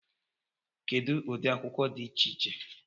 Kedu ụdị akwụkwọ dị iche iche